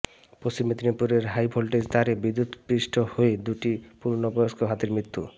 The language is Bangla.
পশ্চিম মেদিনীপুরে হাই ভোল্টেজ তারে বিদ্যুৎস্পৃষ্ট হয়ে দুটি পূর্ণবয়স্ক হাতির মৃত্যু